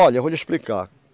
Olha, eu vou lhe explicar.